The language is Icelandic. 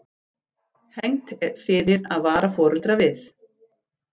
Hegnt fyrir að vara foreldra við